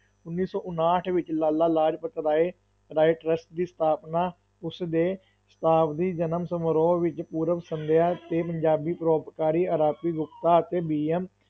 ਉਨੀ ਸੌ ਉਣਾਹਠ ਵਿੱਚ, ਲਾਲਾ ਲਾਜਪਤ ਰਾਏ ਰਾਏ trust ਦੀ ਸਥਾਪਨਾ ਉਸ ਦੇ ਸ਼ਤਾਬਦੀ ਜਨਮ ਸਮਾਰੋਹ ਵਿੱਚ ਪੂਰਵ ਸੰਧਿਆ 'ਤੇ ਪੰਜਾਬੀ ਪਰਉਪਕਾਰੀ ਆਰਪੀ ਗੁਪਤਾ ਅਤੇ ਬੀਐਮ